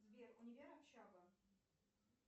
сбер универ общага